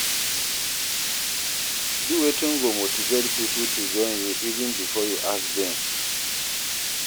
Do wetin go motivate pipo to join you even before you ask dem